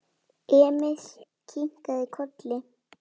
Emil kinkaði kolli.